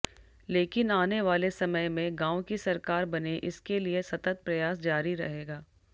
लेकिन आने वाले समय में गांव की सरकार बने इसके लिए सतत प्रयास जारी रहेगा